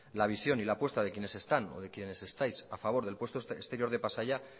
la visión y la apuesta de quienes están o de quienes estáis a favor del puerto exterior de pasaia